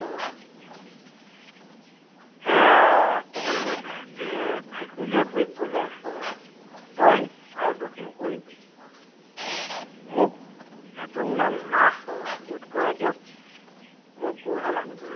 দুখ কৰিবলৈ ধৰিলে। ভে~ভেকুলীয়ে বুঢ়ীক কলে, তই আৰু দুখ নিকৰিবি। মোক, এদোণমান মাহ, গোট কড়াই দিয়ক। মই গৰুহাল আনিবলৈ যাওঁ।